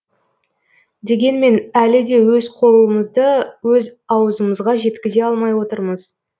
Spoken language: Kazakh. дегенмен әлі де өз қолымызды өз аузымызға жеткізе алмай отырмыз